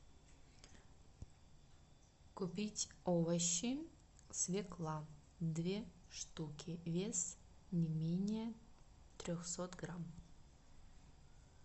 купить овощи свекла две штуки вес не менее трехсот грамм